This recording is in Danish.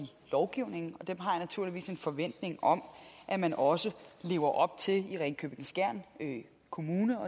lovgivningen og dem har jeg naturligvis en forventning om at man også lever op til i ringkøbing skjern kommune